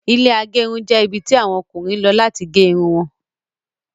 Ilẹ́ agerun jẹ́ ibi tí àwọn Ọkùnrin lọ láti gé Irun wọn